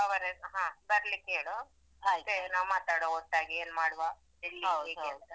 ಹಾ ಬರ್ಲಿಕ್ಕೆ ಹೇಳು ಮತ್ತೆ ಮಾತಾಡುವ ಒಟ್ಟಾಗಿ ಏನ್ ಮಾಡುವ ಎಲ್ಲಿ ಹೇಗೆ ಅಂತ.